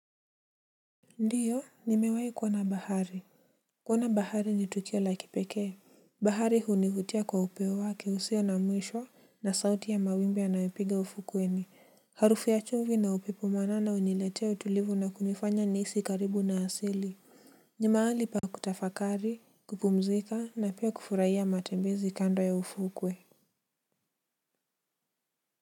Ndiyo nimewai kuona bahari. Kuona bahari ni tukio la kipekee. Bahari hunivutia kwa upeo wake usio na mwishwo na sauti ya mawimbi yanayopiga ufukweni harufu ya chumvi na upepo mwanana huniletea utulivu na kunifanya niisi karibu na asili. Ni maali pa kutafakari kupumzika na pia kufuraia matembezi kando ya ufukwe.